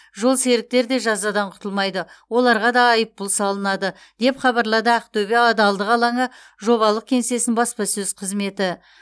жолсеріктер де жазадан құтылмайды оларға да айыппұл салынады деп хабарлады ақтөбе адалдық алаңы жобалық кеңсесінің баспасөз қызметі